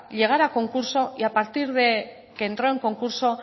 llegar a concurso y a partir de que entró en concurso